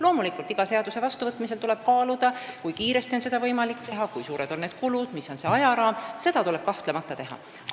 Loomulikult tuleb iga seaduse vastuvõtmisel kaaluda, kui kiiresti on võimalik neid teha, kui suured on kulud, milline on ajaraam – seda tuleb kahtlemata teha.